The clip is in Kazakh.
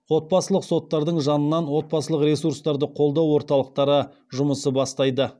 отбасылық соттардың жанынан отбасылық ресурстарды қолдау орталықтары жұмысы бастайды